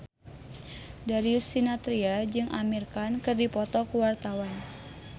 Darius Sinathrya jeung Amir Khan keur dipoto ku wartawan